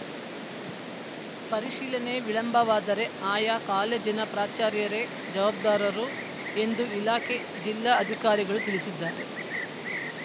ಪರಿಶೀಲನೆ ವಿಳಂಬವಾದರೆ ಆಯಾ ಕಾಲೇಜಿನ ಪ್ರಾಚಾರ್ಯರೇ ಜವಾಬ್ದಾರರು ಎಂದು ಇಲಾಖೆ ಜಿಲ್ಲಾ ಅಧಿಕಾರಿಗಳು ತಿಳಿಸಿದ್ದಾರೆ